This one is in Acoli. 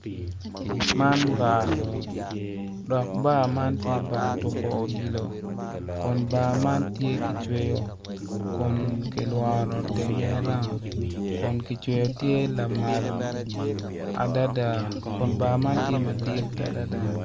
Man bar dok bar man tye bar tuko odilo kun bar man tye kityeko kun kilworo tenge roung kun kicweyo tye lamal adada kun bar man tye madit adada.